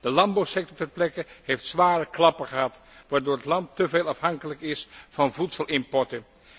De landbouwsector ter plekke heeft zware klappen gehad, waardoor het land te veel afhankelijk is van voedselimporten.